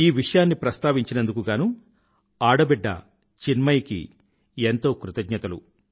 ఈ విషయాన్ని ప్రస్తావించినందుకు గానూ ఆడబిడ్డ చిన్మయి కి ఎంతో కృతజ్ఞతలు